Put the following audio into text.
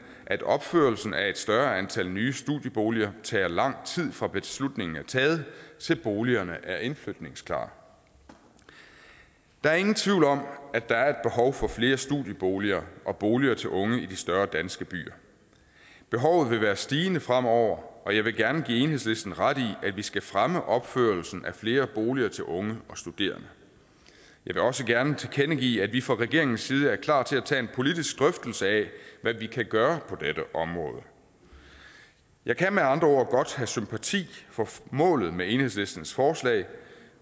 at opførelsen af et større antal nye studieboliger tager lang tid fra beslutningen er taget til boligerne er indflytningsklare der er ingen tvivl om at der er behov for flere studieboliger og boliger til unge i de større danske byer behovet vil være stigende fremover og jeg vil gerne give enhedslisten ret i at vi skal fremme opførelsen af flere boliger til unge og studerende jeg vil også gerne tilkendegive at vi fra regeringens side er klar til at tage en politisk drøftelse af hvad vi kan gøre på dette område jeg kan med andre ord godt have sympati for målet med enhedslistens forslag